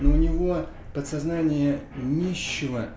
но у него подсознание нищего